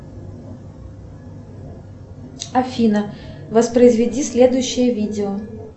афина воспроизведи следующее видео